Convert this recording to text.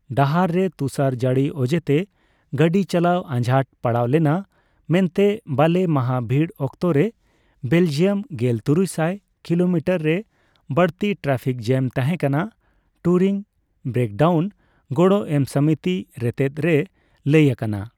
ᱰᱟᱦᱟᱨ ᱨᱮ ᱛᱩᱥᱟᱨ ᱡᱟᱹᱲᱤ ᱚᱡᱮ ᱛᱮ ᱜᱟᱹᱰᱤ ᱪᱟᱞᱟᱣ ᱟᱡᱷᱟᱴ ᱯᱟᱲᱟᱣ ᱞᱮᱱᱟ ᱢᱮᱱᱛᱮ ᱵᱟᱞᱮ ᱢᱟᱦᱟ ᱵᱷᱤᱲ ᱚᱠᱛᱚ ᱨᱮ ᱵᱮᱞᱡᱤᱭᱟᱢ ᱜᱮᱞ ᱛᱩᱨᱩᱭᱥᱟᱭ ᱠᱤᱞᱳᱢᱤᱴᱟᱨ ᱨᱮ ᱵᱟᱲᱛᱤ ᱴᱨᱟᱯᱷᱤᱠ ᱡᱮᱢ ᱛᱟᱦᱮᱸ ᱠᱟᱱᱟ, ᱴᱩᱨᱤᱝ ᱵᱨᱮᱠᱰᱟᱣᱩᱱ ᱜᱚᱲᱚ ᱮᱢ ᱥᱚᱢᱤᱛᱤ ᱨᱮᱛᱮᱛ ᱨᱮ ᱞᱟᱹᱭ ᱟᱠᱟᱱᱟ ᱾